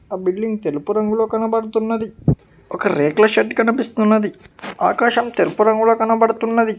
ఆ బిల్డింగ్ తెలుపు రంగులో కనబడుతున్నది ఒక రేకుల షెడ్డు కనిపిస్తున్నది ఆకాశం తెల్పు రంగులో కనబడుతున్నది.